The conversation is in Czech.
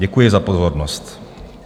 Děkuji za pozornost.